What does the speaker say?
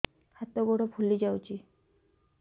ହାତ ଗୋଡ଼ ଫୁଲି ଯାଉଛି